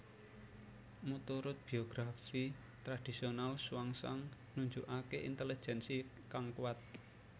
Muturut biografi tradisional Xuanzang nunjukaké intelejensi kang kuat